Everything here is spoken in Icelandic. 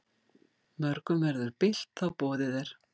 Mörgum verður bilt þá boðið er.